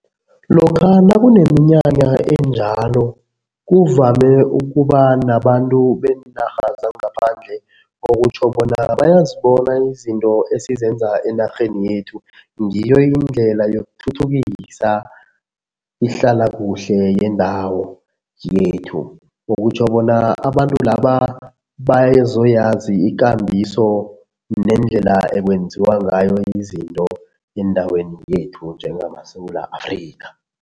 Lokha nakuneminyanya enjalo kuvame ukuba nabantu beenarha zangaphandle, okutjho bona bayazibona izinto esizenza enarheni yethu. Ngiyo indlela yokuthuthukisa ihlalakuhle yendawo yethu, okutjho bona abantu laba bazoyazi ikambiso nendlela ekwenziwa ngayo izinto endaweni yethu njengama Sewula Afrika.